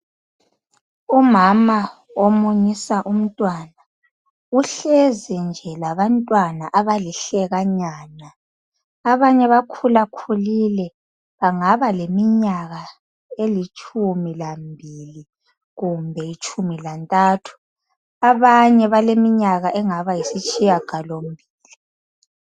Umama omunyisa umntwana, uhlezi nje labantwana abalihlekanyana. Abanye bakhulakhulile, bangaba leminyaka elitshumi lambili kumbe tshumi lantathu. Abanye baleminyaka engaba yisitshiyagalombili.